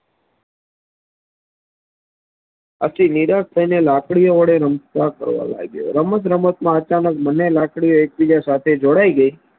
આથી નિરાશ થઈને લાકડી ઓ વડે રમવા લાગ્યો રમત રમત માં અચાનક બને લાકડીઓ એક બીજા સાથે જોડાઈ ગઈ